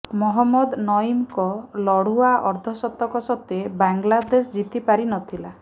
ମହମ୍ମଦ ନଇମଙ୍କ ଲଢୁଆ ଅର୍ଦ୍ଧଶତକ ସତ୍ତ୍ୱେ ବାଂଲାଦେଶ ଜିତି ପାରିନଥିଲା